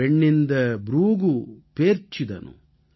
பெண்ணிந்த ப்ரூகு பேர்ச்சிதdhaனு